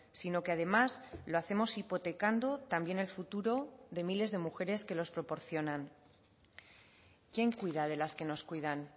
sino que además lo hacemos hipotecando también el futuro de miles de mujeres que los proporcionan quién cuida de las que nos cuidan